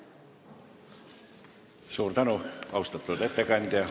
Suur tänu, austatud ettekandja!